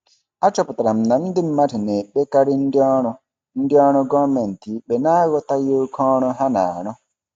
Achọpụtara m na ndị mmadụ na-ekpekarị ndị ọrụ ndị ọrụ gọọmentị ikpe n'aghọtaghị oke ọrụ ha na-arụ.